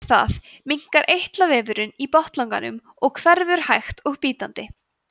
eftir það minnkar eitlavefurinn í botnlanganum og hverfur hægt og bítandi